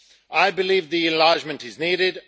I believe the enlargement is needed.